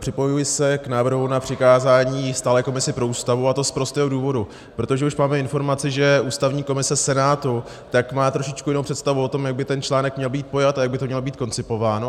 Připojuji se k návrhu na přikázání stálé komisi pro Ústavu, a to z prostého důvodu, protože už máme informaci, že ústavní komise Senátu má trošičku jinou představu o tom, jak by ten článek měl být pojat a jak by to mělo být koncipováno.